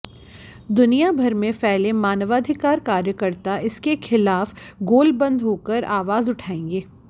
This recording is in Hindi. दुनिया भर में फैले मानवाधिकार कार्यकर्ता इसके खिला़फ गोलबंद होकर आवाज़ उठाएंगे